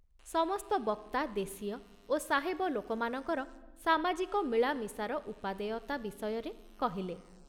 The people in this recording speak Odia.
ସମସ୍ତ ବକ୍ତା ଦେଶୀୟ ଓ ସାହେବ ଲୋକମାନଙ୍କର ସାମାଜିକ ମିଳାମିଶାର ଉପାଦେୟତା ବିଷୟରେ କହିଲେ ।